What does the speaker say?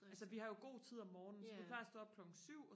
altså vi har jo god tid om morgenen så vi plejer og stå op klokken syv